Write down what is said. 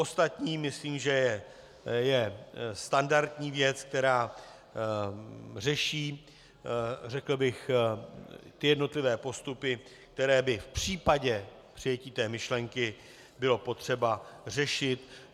Ostatní myslím, že je standardní věc, která řeší, řekl bych, jednotlivé postupy, které by v případě přijetí té myšlenky bylo potřeba řešit.